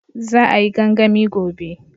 Za a yi gangami gobe